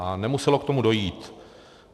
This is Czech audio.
A nemuselo k tomu dojít.